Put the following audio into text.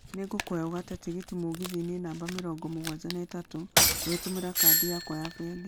nĩ ngũkũhoya ugate tigiti mũgithi-inĩ namba mĩrongo mũgwanja na ĩtatũ ungĩtumira Kadi yakwa ya bengĩ